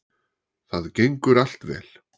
Það gengur allt vel